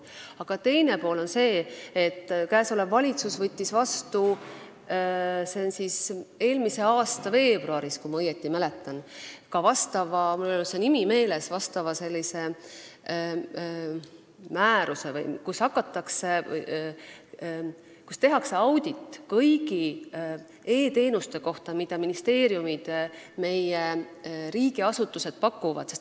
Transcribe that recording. Aga teine pool on see, et käesolev valitsus võttis eelmise aasta veebruaris vastu, kui ma õigesti mäletan, ka vastava – mul ei ole see nimetus meeles – määruse, et tehakse audit kõigi e-teenuste kohta, mida ministeeriumid ja meie riigiasutused pakuvad.